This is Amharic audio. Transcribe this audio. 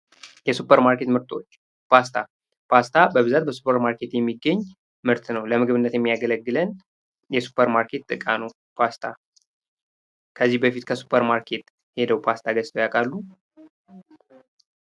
የሱፐር ማርኬት ምርቶች ፓስታ ፓስታ በብዛት በሱፐር ማርኬት የሚገኝ ምርት ነው። ለምግብነት የሚያገለግለን የሱፐር ማርኬት እቃ ነው ፓስታ። ከዚህ በፊት ከሱፐር ማርኬት ሔደው ፓስታ ገዝተው ያውቃሉ?